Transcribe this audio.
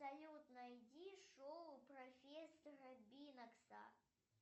салют найди шоу профессора бинокса